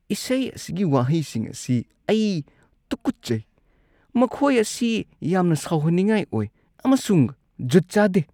ꯏꯁꯩ ꯑꯁꯤꯒꯤ ꯋꯥꯍꯩꯁꯤꯡ ꯑꯁꯤ ꯑꯩ ꯇꯨꯀꯠꯆꯩ꯫ ꯃꯈꯣꯏ ꯑꯁꯤ ꯌꯥꯝꯅ ꯁꯥꯎꯍꯟꯅꯤꯡꯉꯥꯏ ꯑꯣꯏ ꯑꯃꯁꯨꯡ ꯖꯨꯠ ꯆꯥꯗꯦ꯫